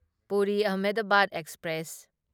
Puri Ahmedabad express